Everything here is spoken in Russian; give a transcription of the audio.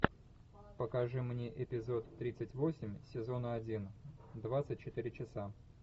покажи мне эпизод тридцать восемь сезона один двадцать четыре часа